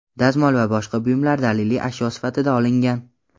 dazmol va boshqa buyumlar daliliy ashyo sifatida olingan.